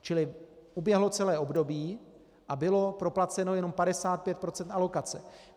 Čili uběhlo celé období a bylo proplaceno jenom 55 % alokace.